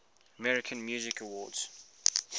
american music awards